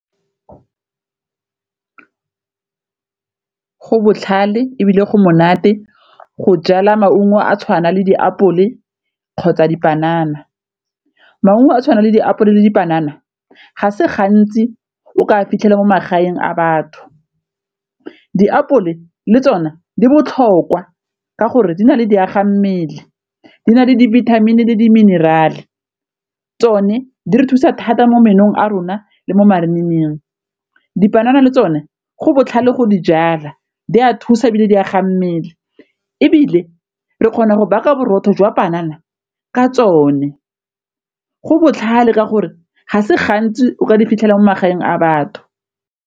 Go botlhale ebile go monate go jala maungo a tshwana le diapole kgotsa dipanana, maungo a tshwana le diapole le dipanana ga se gantsi o ka fitlhela mo magaeng a batho. Diapole le tsone di botlhokwa ka gore di na le di aga mmele di na le dibithamini le diminerale tsone di re thusa thata mo menong a rona le mo marinining, dipanana le tsone go botlhale go di jala di a thusa ebile di agang mmele ebile re kgona go baka borotho jwa panana ka tsone go botlhale ka gore ga se gantsi o ka di fitlhelang mo magaeng a batho.